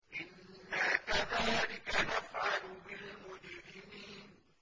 إِنَّا كَذَٰلِكَ نَفْعَلُ بِالْمُجْرِمِينَ